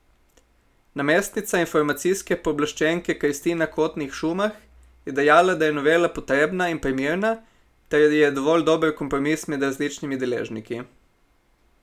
Namestnica informacijske pooblaščenke Kristina Kotnik Šumah je dejala, da je novela potrebna in primerna, ter je dovolj dober kompromis med različnimi deležniki.